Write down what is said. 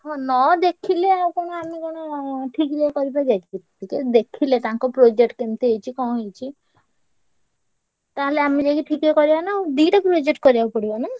ହଁ ନ ଦେଖିଲେ ଆଉ କଣ ଠିକ୍ ରେ କରିପାରିଆ କି ତ ଦେଖିଲେ ତାଙ୍କ project କେମିତି ହେଇଛି କଣ ହେଇଛି ତାହେଲେ ଆମେ ଯାଇ ଟିକେ କରିଆ ନା ଆଉ। ଦିଟା project କରିଆକୁ ପଡିବ ନା?